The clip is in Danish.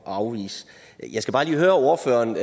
afvise jeg skal bare lige høre ordføreren